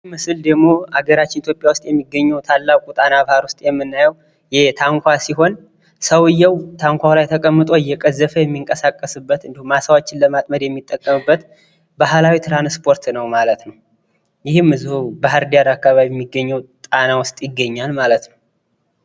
ይህ ምስል ደግሞ ሀገራችን ኢትዮጵያ ጣና ባህር ውስጥ የምናየው ታንኳ ሲሆን ሰዉየው ትንኳው ላይ ተቀምጦ እየቀዘፈ የሚንቀሳቀስበት ነው። አሳዎችን ለማጥመድ የሚጠቀምበት ባህላዊ ትራንስፖርት ነው። ማለት ነው። ይህም እዚህ ባህር ዳር አካባቢ የሚገኘው ጣና ውስጥ ይገኛል ማለት ነው።